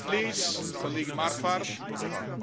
Ich habe dazu ja schon etwas gesagt.